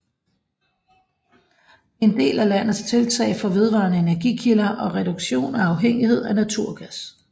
Det er en del af landets tiltag for vedvarende energikilder og reduktion af afhængighed af naturgas